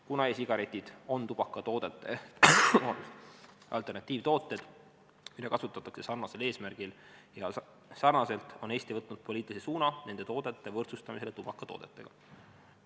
Kuna e-sigaretid on tubakatoodete alternatiivtooted, mida kasutatakse sarnasel eesmärgil ja sarnaselt, on Eesti võtnud poliitilise suuna nende toodete võrdsustamisele tubakatoodetega.